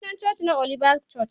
Sunan coci na Oliba coc.